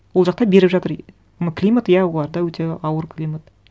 ол жақта беріп жатыр ну климат иә оларда өте ауыр климат